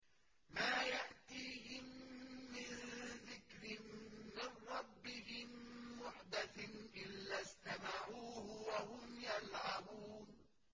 مَا يَأْتِيهِم مِّن ذِكْرٍ مِّن رَّبِّهِم مُّحْدَثٍ إِلَّا اسْتَمَعُوهُ وَهُمْ يَلْعَبُونَ